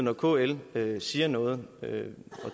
når kl siger noget